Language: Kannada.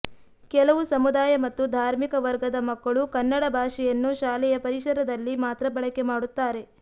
ಕೆಲವು ಸಮುದಾಯ ಮತ್ತು ಧಾರ್ಮಿಕ ವರ್ಗದ ಮಕ್ಕಳು ಕನ್ನಡ ಭಾಷೆಯನ್ನು ಶಾಲೆಯ ಪರಿಸರದಲ್ಲಿ ಮಾತ್ರ ಬಳಕೆ ಮಾಡುತ್ತಾರೆ